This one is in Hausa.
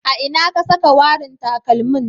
A ina ka saka warin takalmin.